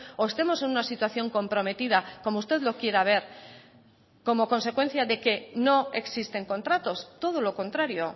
o estemos en una situación comprometida como usted lo quiera ver como consecuencia de que no existen contratos todo lo contrario